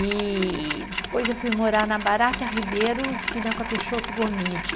E depois eu fui morar na Barata Ribeiro, esquina com a Peixoto Gomidi.